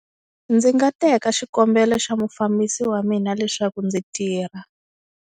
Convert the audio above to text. Ndzi nga teka xikombelo xa mufambisi wa mina leswaku ndzi tirha.